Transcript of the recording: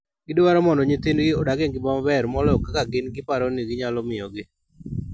Gidwaro mondo nyithindgi odag e ngima maber moloyo kaka gin giparo ni ginyalo miyo gi.